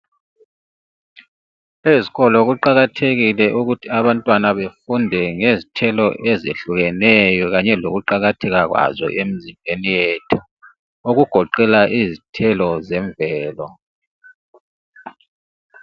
Ezikolo kuqakathekile ukuthi abantwana befunde ngezithelo ezehlukeneyo kanye lokuqakatheka kwazo emzimbeni yethu, okugoqela izithelo zemvelo.